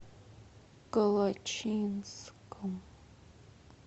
калачинском